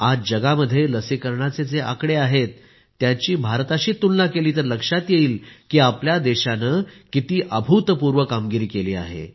आज जगात लसीकरणाचे जे आकडे आहेत त्यांची भारताशी तुलना केली तर लक्षात येईल की आपल्या देशाने किती अभूतपूर्व कामगिरी केली आहे